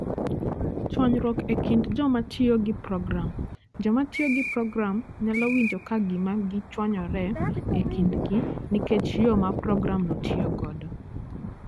Chwanyruok e kind joma tiyo gi program: Joma tiyo gi program nyalo winjo ka gima gichwanyore e kindgi nikech yo ma programno tiyo godo.